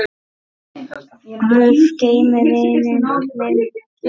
Guð geymi vininn minn Frissa.